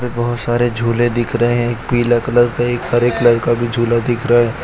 बहोत सारे झूले दिख रहे हैं एक पीला कलर का एक हरे कलर का भी झूला दिख रहा है।